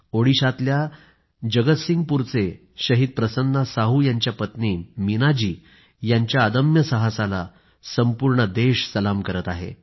ओडिशातल्या जगतसिंहपूरचे शहीद प्रसन्ना साहू यांच्या पत्नी मीनाजी यांच्या अदम्य साहसाला संपूर्ण देश सलाम करत आहे